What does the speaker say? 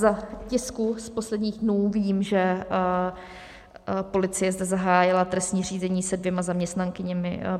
Z tisku z posledních dnů vím, že policie zde zahájila trestní řízení se dvěma zaměstnankyněmi.